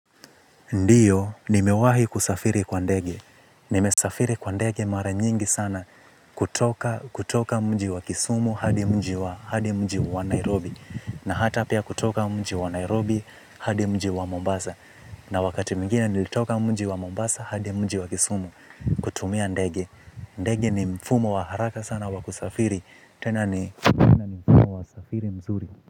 Ndiyo nimewahi kusafiri kwa ndege. Nimesafiri kwa ndege mara nyingi sana kutoka kutoka mji wa kisumu hadi mji wa hadi mji wa Nairobi. Na hata pia kutoka mji wa Nairobi hadi mji wa Mombasa. Na wakati mwingine nilitoka mji wa Mombasa hadi mji wa kisumu kutumia ndege. Ndege ni mfumo wa haraka sana wa kusafiri. Tena ni mtindo wa usafiri mzuri.